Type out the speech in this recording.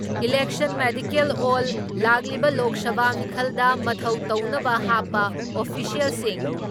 ꯏꯂꯦꯟꯁꯟ medical ꯑꯦꯜ ꯂꯥꯛꯂꯤꯕ ꯂꯣꯛ ꯁꯚꯥ ꯃꯤꯈꯜꯗ ꯃꯊꯧ ꯇꯧꯅꯕ ꯍꯥꯞꯄ ꯑꯣꯐꯤꯁꯤꯌꯦꯜꯁꯤꯡ